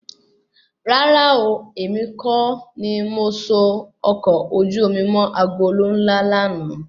Rárá ooo, èmi kọ́ ni o so ọkọ ojú omi mọ́ agolo ńlá lànà